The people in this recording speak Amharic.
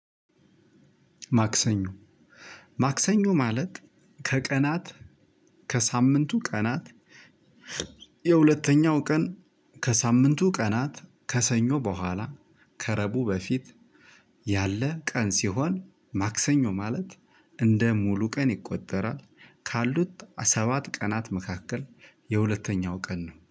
ማክሰኞ ማክሰኞ ማለት ከቀናት ከሳምንቱ ቀናት የሁለተኛው ቀን ከሳምንቱ ቀናት ከሰኞ በኋላ ከረቡ በፊት ያለ ቀን ሲሆን ማክሰኞ ማለት እንደ ሙሉ ቀን ይቆጠራል ካሉት ሰባት ቀናት መካከል የሁለተኛው ቀን ነው